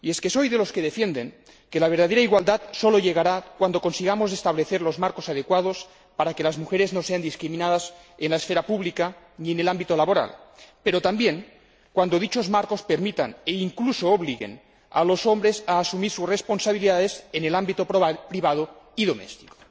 Soy de los que defienden que la verdadera igualdad solamente llegará cuando consigamos establecer los marcos adecuados para que las mujeres no sean discriminadas en la esfera pública ni en el ámbito laboral, pero también cuando dichos marcos permitan e incluso obliguen a los hombres a asumir sus responsabilidades en el ámbito privado y doméstico.